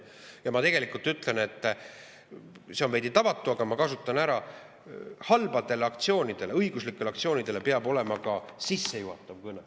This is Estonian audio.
Ja ma tegelikult ütlen – see on veidi tavatu, aga ma kasutan ära –, et halbadele õiguslikele aktsioonidele peab olema ka sissejuhatav kõne.